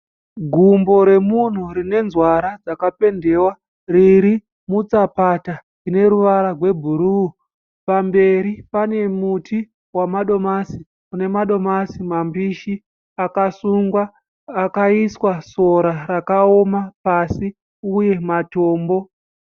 Gumbo remunhu rine nzwara dzakapendewa. Riri mutsapata ine ruvara webhuruu. Pamberi pane muti wamadomasi une madomasi mambishi akasungwa. Akaiswa sora rakaoma pasi uye matombo.